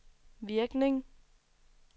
virkning